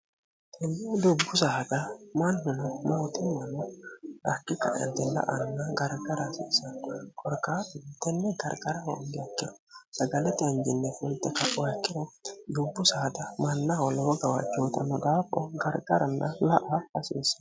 tinni dubbu saaga mannino mootinmano dakki kaentila anna gargara asiisano korkaatinni garqara hongeekkino sagalete hanjinne fulxe kaoakkino dubbu saada mannaholowo gawachi hutanno daapho gargaranna la'a hasiissen